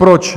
Proč?